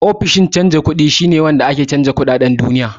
Ofishin canja kuɗi wurare ne wanda ake canja duka kuɗaɗen duniya